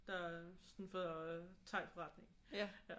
Der sådan fra thaiforretningen ja